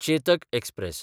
Chetak express